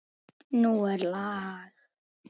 Nú er lag!